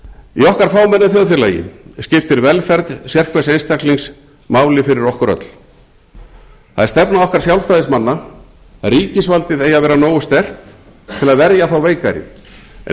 í okkar fámenna þjóðfélagi skiptir velferð sérhvers einstaklings máli fyrir okkur öll það er stefna okkar sjálfstæðismanna að ríkisvaldið eigi að vera nógu sterkt til að verja þá veikari en